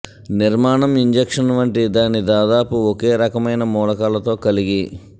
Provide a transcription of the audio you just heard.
నిర్మాణం ఇంజక్షన్ వంటి దాని దాదాపు ఒకే రకమైన మూలకాలతో కలిగి